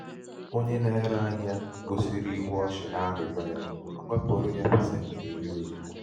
onye na-ere ahịa gosiri ihu ọchị n'arịrịo ya wepụrụ ya ya pasenti iri ozugbo.